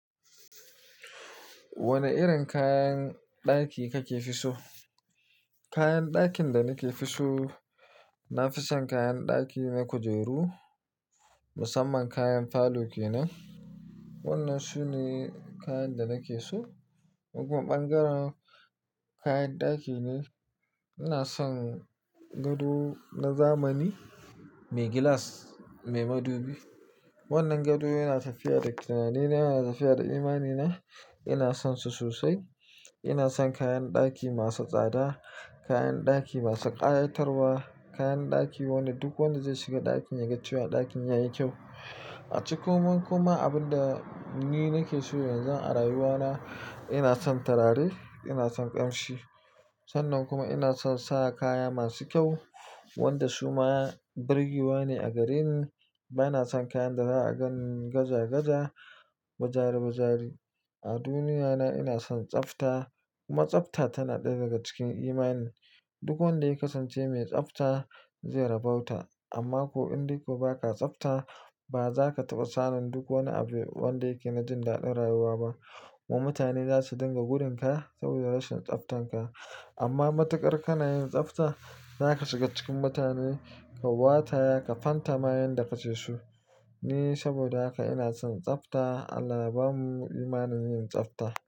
Wani irin kayan ɗaki kakefiso? Kayan dakin da nake fiso, nafi son kayan daki ne kujeru, musamman kayan falo kenan. Wannan sune kayan da nake so. In kuma ɓangaren kayan ɗaki ne. Ina son gado na zamani, mai gilas, mai madubi. Wannan gado yana tafiya da tunani na, yana tafiya da imani na. Ina san su sosai. Ina son kayan ɗaki masu tsada, kayan ɗaki masu ƙayatarwa, kayan ɗaki wanda duk wanda zai shiga ɗakin ya ga cewa ɗakin yayi kyau. A ciko mun kuma abin da ni nake so yanzu a rayuwa na, ina son turare, ina son ƙamshi. Sannan kuma ina son sa kaya masu kyau wanda su ma birgewa ne a gareni. Ba na son kayan da za a ganni gaja gaja, bajare bajare. A duniyya na ina son tsafta kuma tsafta tana ɗaya daga cikin imani na. Duk wanda kasan ce mai tsafta, zai rabau ta amma ko in dai ko ba ka tsafta, ba za ka taɓa samun duk wani abu wanda yake na jin dadin rayuwa ba. Kuma mutane za su dinga gudunka saboda rashin tsaftan ka. Amma matuƙar kana yin tsafta, za ka shiga cikin mutane, ka wata, ka fanta ma yanda kake so. Ni saboda haka ina son tsafta. Allah bamu imani yin tsafta.